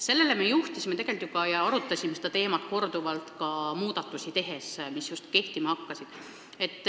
Sellele me juhtisime tähelepanu juba varem ja arutasime seda teemat korduvalt ka just kehtima hakanud muudatuste tegemise käigus.